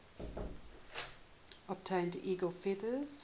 obtain eagle feathers